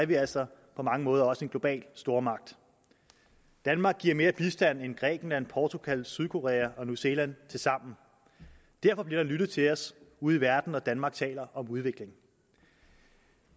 vi altså på mange måder også en global stormagt danmark giver mere bistand end grækenland portugal sydkorea og new zealand tilsammen derfor bliver der lyttet til os ude i verden når danmark taler om udvikling